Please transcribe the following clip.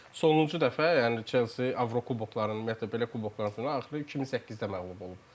Sonuncu dəfə yəni Chelsea Avrokuboklarını, ümumiyyətlə belə kuboklarda axırı 2008-də məğlub olub.